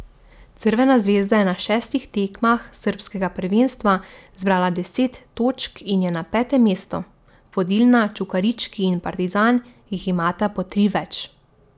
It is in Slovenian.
Crvena zvezda je na šestih tekmah srbskega prvenstva zbrala deset točk in je na petem mestu, vodilna Čukarički in Partizan jih imata po tri več.